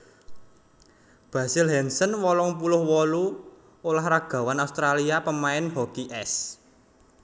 Basil Hansen wolung puluh wolu ulah ragawan Australia pamain hoki ès